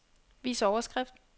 Vis overskrift.